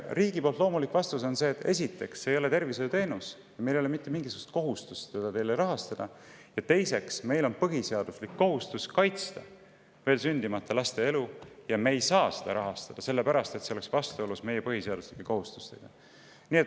" Riigi vastus loomulikult oleks selline: esiteks, see ei ole tervishoiuteenus ja meil ei ole mitte mingisugust kohustust seda rahastada, ja teiseks, meil on põhiseaduslik kohustus kaitsta veel sündimata laste elu ja me ei saa seda rahastada, sellepärast et see oleks vastuolus meie põhiseaduslike kohustustega.